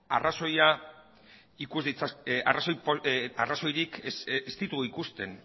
arrazoirik ez ditugu ikusten